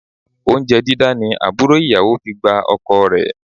Oúnjẹ dídá ni àbúrò ìyàwó fi gba ọkọ rẹ